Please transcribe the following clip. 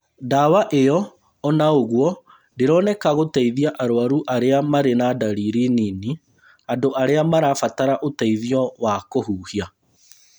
Dawa ĩyo onaũguo ndĩroneka gũteithia arwaru arĩa marĩ na dariri nini- andũ arĩa matarabatara ũteithio wa kũhuhia